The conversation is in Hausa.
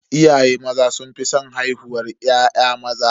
Iyaye maza sun fi san haihuwar ya'ya maza.